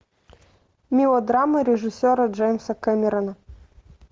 мелодрама режиссера джеймса кэмерона